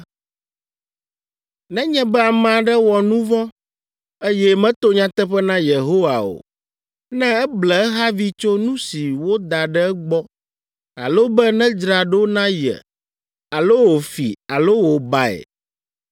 “Nenye be ame aɖe wɔ nu vɔ̃, eye meto nyateƒe na Yehowa o, ne eble ehavi tso nu si woda ɖe egbɔ alo be nedzra ɖo na ye alo wòfi alo wòbae